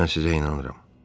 Mən sizə inanıram.